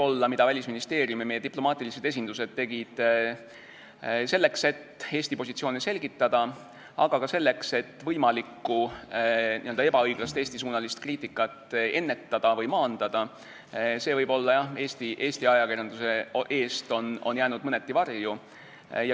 See, mida Välisministeerium ja meie diplomaatilised esindused tegid selleks, et Eesti positsioone selgitada, aga ka selleks, et võimalikku ebaõiglast Eesti-suunalist kriitikat ennetada või maandada, on võib-olla Eesti ajakirjanduse eest mõneti varju jäänud.